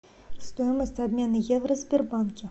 стоимость обмена евро в сбербанке